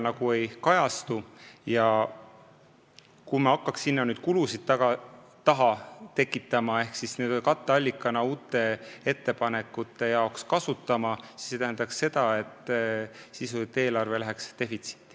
Kui me hakkaks sinna kulusid taha tekitama ehk seda raha katteallikana uute ettepanekute elluviimiseks kasutama, siis see tähendaks seda, et sisuliselt eelarve läheks defitsiiti.